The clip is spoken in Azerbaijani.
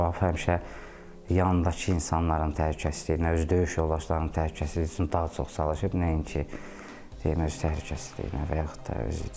Rauf həmişə yandakı insanların təhlükəsizliyinə, öz döyüş yoldaşlarının təhlükəsizliyi üçün daha çox çalışıb, nəinki öz təhlükəsizliyinə və yaxud da özü üçün.